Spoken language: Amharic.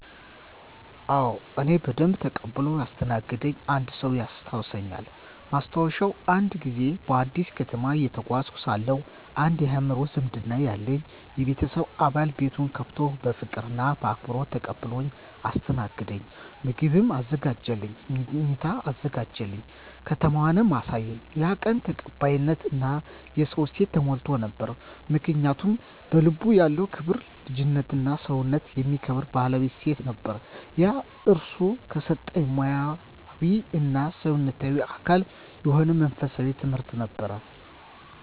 አዎ፣ እኔን በደንብ ተቀብሎ ያስተናገደኝ አንድ ሰው ያስታውሳልኝ። ማስታወሻ፦ አንድ ጊዜ በአዲስ ከተማ እየተጓዝኩ ሳለሁ አንድ የአእምሮ ዝምድና ያለኝ የቤተሰብ አባል ቤቱን ከፍቶ በፍቅር እና በአክብሮት ተቀብሎኝ አስተናገደኝ። ምግብ አዘጋጀልኝ፣ መኝታ አዘጋጀ፣ ከተማውንም አሳየኝ። ያ ቀን ተቀባይነት እና የሰውነት እሴት ተሞልቶ ነበር። ምክንያቱ? በልቡ ያለው ክብር፣ ልጅነትና ሰውነትን የሚከብር ባህላዊ እሴት ነበር። ያ እርሱ ከሰጠኝ ሙያዊ እና ሰውነታዊ አካል የሆነ መንፈሳዊ ትምህርት ነበር።